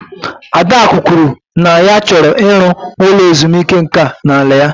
Adachukwu kwuru na ya chọrọ ịrụ ụlọ ezumike nka n'ala a